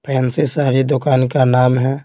Fancy sari दुकान का नाम है।